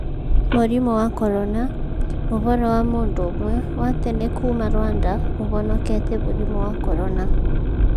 Mũrimũ wa Corona: Ũhoro wa mũndũ ũmwe wa tene kuuma Rwanda ũhonokete mũrimũ wa Corona